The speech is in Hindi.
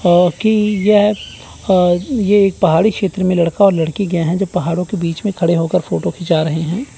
अं की यह अं ये एक पहाड़ी छेत्र में लड़का और लड़की के हैं जो पहाड़ों के बीच मे खड़े होकर फ़ोटो खिंचा रहे हैं।